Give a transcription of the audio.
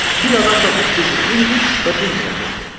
Bir adam da bu sirri bilmir və bilməyəcək də.